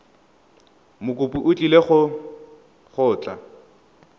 mokopi o tlile go tla